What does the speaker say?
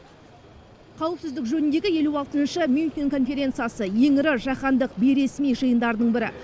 қауіпсіздік жөніндегі елу алтыншы мюнхен конференциясы ең ірі жаһандық бейресми жиындардың бірі